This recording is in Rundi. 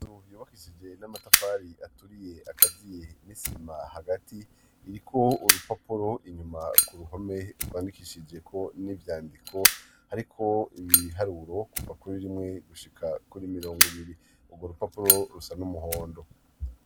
Inzu yubakishije n'amatafari aturiye, akaziye n'isima hagati, iriko urupapuro inyuma ku ruhome, rwandikishijeko n'ivyandiko hariko ibiharuro kuva kuri rimwe gushika kuri mirongo ibiri; urwo rupapuro rusa n'umuhondo.